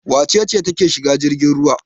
Wace ce take shiga jirgin ruwa?